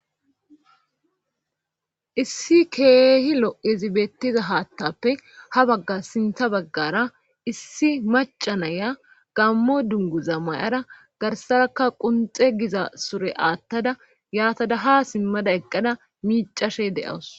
issi keehi lo7ezibettiza haattappe ha bagga sintha baggara issi macanaya gammo dungu za mayara garsarakka qunxe giza sure aattada yaata daha simmada eqqada micashe de7awus